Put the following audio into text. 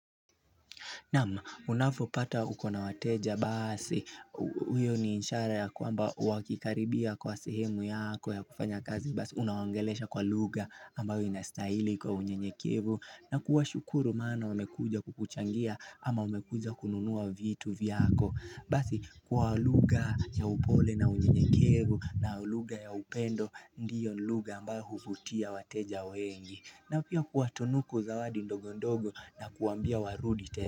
Naam unafopata ukona wateja basi uyo ni inshara ya kwamba wakikaribia kwa sehemu yako ya kufanya kazi basi unawaongelesha kwa lugha ambayo inastahili kwa unyenyekevu na kuwa shukuru maana wamekuja kukuchangia ama wamekuja kununua vitu vyako basi kwa lugha ya upole na unyenyekevu na lugha ya upendo ndiyo lugha ambayo hukutia wateja wengi na pia kuwa tunuku zawadi ndogo ndogo na kuwa ambia warudi te.